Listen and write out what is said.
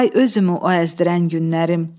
Ay özümü o əzdirən günlərim.